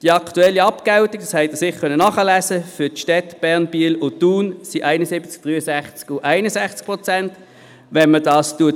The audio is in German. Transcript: Die aktuelle Abgeltung liegt für die Städte Bern, Biel und Thun – dies konnten Sie sicher nachlesen – bei 71, 63 und 61 Prozent.